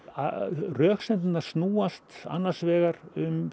röksemdirnar snúast annars vegar um